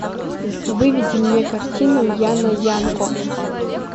выведи мне картину яна янко